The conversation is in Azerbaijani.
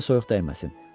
Gözlə soyuq dəyməsin.